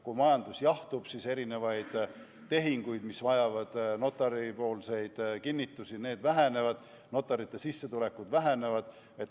Kui majandus jahtub, siis erinevaid tehinguid, mis vajavad notari kinnitusi, on vähem, notarite sissetulekud vähenevad.